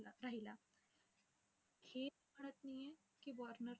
आणि मिरट मध्ये तिथे आमचे पोरांसोबत joining केली आणि तिथपासून मी तकरिबान आठ नऊ नुसते त्याच्यासंग राहिलो